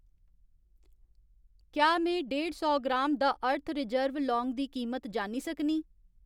क्या में डेढ़ सौ ग्राम द अर्थ रिजर्व लौंग दी कीमत जानी सकनीं?